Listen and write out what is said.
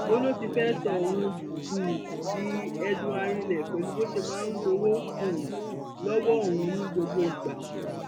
ó lọ ti fẹẹ sọ òun um di ẹdun arinlẹ pẹlú bó ṣe máa ń gbowó um lọwọ òun ní gbogbo ìgbà